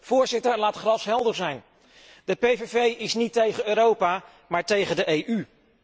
Voorzitter, laten we glashelder zijn de PVV is niet tegen Europa, maar tegen de EU.